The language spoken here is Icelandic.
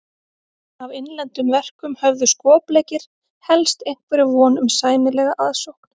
Af innlendum verkum höfðu skopleikir helst einhverja von um sæmilega aðsókn.